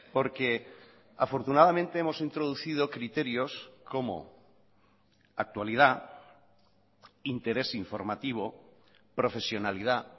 porque afortunadamente hemos introducido criterios como actualidad interés informativo profesionalidad